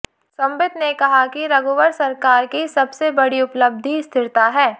संबित ने कहा कि रघुवर सरकार की सबसे बड़ी उपलब्धि स्थिरता है